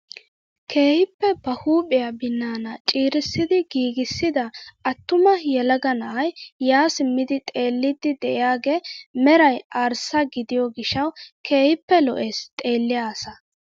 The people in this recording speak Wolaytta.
Keehippe ba huphphiyaa binaana ciirissidi giigissida attuma yelaga na'ay yaa simmidi xeelliidi de'iyaagee meray arssa gidiyoo gishshawu keehippe lo"ees xeelliyaa asaa!